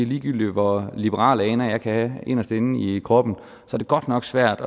ligegyldig hvor liberale aner jeg kan have inderst inde i kroppen er det godt nok svært